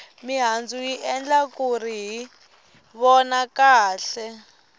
mihandzu yi endla kuri hi vona kahle